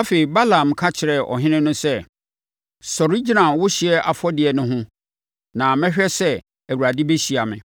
Afei Balaam ka kyerɛɛ ɔhene no sɛ, “Sɔre gyina wo ɔhyeɛ afɔdeɛ no ho na mɛhwɛ sɛ Awurade bɛhyia me,